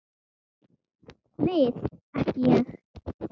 Við ekki Ég.